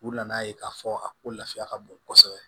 U nana ye k'a fɔ a ko lafiya ka bon kosɛbɛ